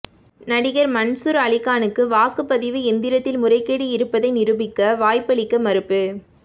நடிகர் மன்சூர் அலிகானுக்கு வாக்குப்பதிவு எந்திரத்தில் முறைகேடு இருப்பதை நிரூபிக்க வாய்ப்பளிக்க மறுப்பு